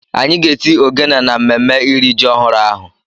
Anyị ga-eti ogene na mmemme iri ji ọhụrụ ahụ